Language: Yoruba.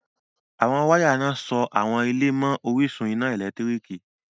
Awọn wàya iná sọ awọn ilẹ̀ mán ọ̀rìṣun iná èlẹ́tiríkì